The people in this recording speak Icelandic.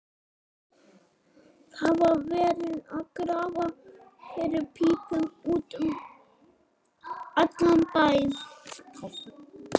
Það var verið að grafa fyrir pípum út um allan bæ.